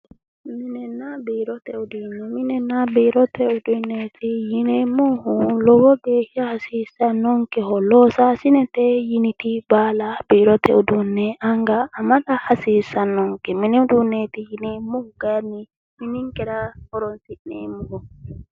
Minenna biirote uduunneeti yineemmohu lowo geeshsha hasiisannonkeho loosaasinete yiniti baala biirote uduunne anga amada hasiissannonke minib uduunneeti yineemmohu kayiinni mininkera horonsi'neemmoho.